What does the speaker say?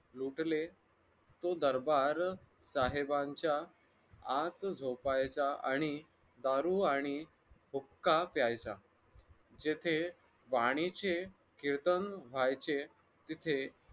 लुटले तो दरबार साहेबांच्या आत झोपायचा आणि दारू आणि हुक्का प्यायचा जेथे पाण्याचे कीर्तन व्हायचे तिथे